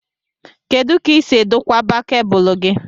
Kedụ ka i si edokwaba cabúlú gị?